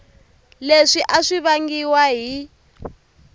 leswi a swi vangiwa hi